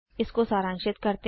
इसको सारांशित करते हैं